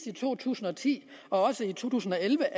i to tusind og ti og to tusind og elleve